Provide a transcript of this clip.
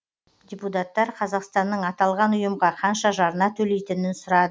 депутаттар қазақстанның аталған ұйымға қанша жарна төлейтінін сұрады